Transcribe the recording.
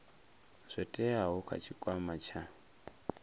zwo teaho kha tshikwama tsha